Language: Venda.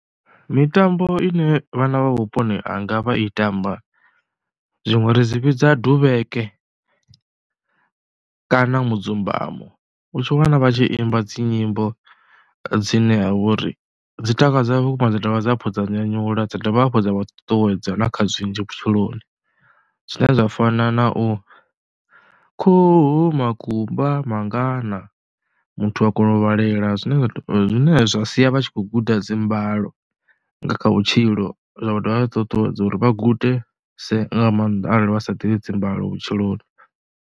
Mitambo ine vhana vha vhuponi hanga vha i tamba zwiṅwe ri dzi vhidza duvheke kana mudzumbamo, u tshi wana vha tshi imba dzi nyimbo dzine ha vha uri dzi takadza vhukuma dza dovha hafhu dza nyanyula, dza dovha hafhu dza vha ṱuṱuwedza na kha zwinzhi vhutshiloni zwine zwa fana na u, khuhu, makumba mangana, muthu a kona u vhalela zwine zwa sia vha tshi khou guda dzi mbalo nga kha vhutshilo zwa dovha zwa ṱuṱuwedza uri vha gudese nga maanḓa arali vha sa ḓivhi dzi mbalo vhutshiloni.